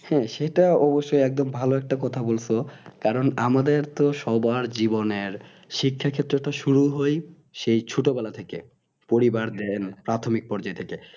হ্যাঁ সেটাও অবশ্যইএকদম ভালো কথা বলছো কারণ আমাদের তো সবার জীবনের শিক্ষাক্ষেত্র তো শুরু হয় সেই ছোট বেলা থেকে পরিবার জ্ঞান প্রাথমিক পর্যায় থেকে